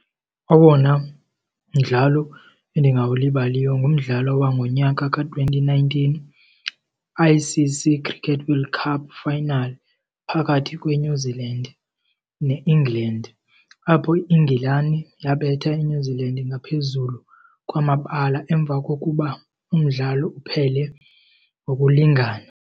Owona mdlalo endingawulibaliyo ngumdlalo wangonyaka ka-twenty nineteen, I_C_C Cricket World Cup final phakathi kweNew Zealand ne-England. Apho iNgilani yabetha iNew Zealand ngaphezulu kwamabala emva kokuba umdlalo uphele ngokulingana.